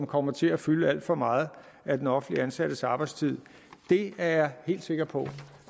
kommer til at fylde alt for meget af den offentligt ansattes arbejdstid jeg er helt sikker på